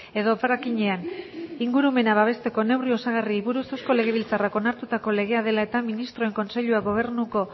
edo frackingean ingurumena babesteko neurri osagarriei buruz eusko legebiltzarrak onartutako legea dela eta ministroen kontseiluak gobernuko